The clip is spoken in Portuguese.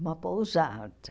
Uma pousada.